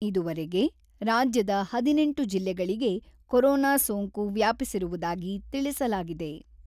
ಇದುವರೆಗೆ ರಾಜ್ಯದ ಹದಿನೆಂಟು ಜಿಲ್ಲೆಗಳಿಗೆ ಕೊರೊನಾ ಸೋಂಕು ವ್ಯಾಪಿಸಿರುವುದಾಗಿ ತಿಳಿಸಲಾಗಿದೆ.